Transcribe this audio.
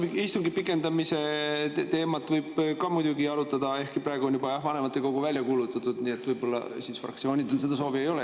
Jaa, no istungi pikendamise teemat võib ka muidugi arutada, ehkki praegu on juba vanematekogu välja kuulutatud, nii et võib-olla siis fraktsioonidel seda soovi ei ole.